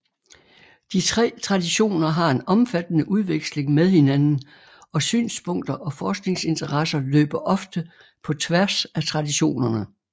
De tre traditioner har en omfattende udveksling med hinanden og synspunkter og forskningsinteresser løber ofte på tværs af traditionerne